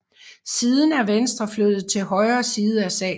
Siden er Venstre flyttet til højre side af salen